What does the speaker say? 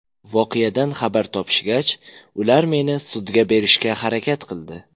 Voqeadan xabar topishgach, ular meni sudga berishga harakat qildi.